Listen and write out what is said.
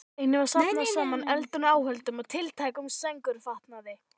Einnig var safnað saman eldunaráhöldum og tiltækum sængurfatnaði.